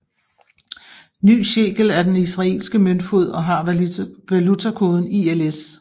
Ny Shekel er den israelske møntfod og har valutakoden ILS